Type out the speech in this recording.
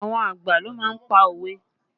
Àwọn àgbà ló má ń pa òwe